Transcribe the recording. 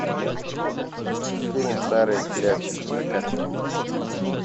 фильм старые клячи закачивай